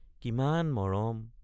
কিমান মৰম!